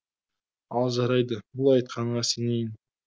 ал жарайды бұл айтқаныңа сенейін